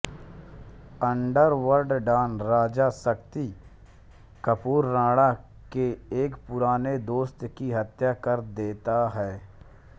underworld don Raja Shakti Kapoor Rana के एक पुराने दोस्त की हत्या कर देता है